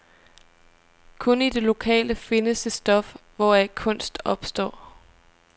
Kun i det lokale findes det stof, hvoraf kunst opstår.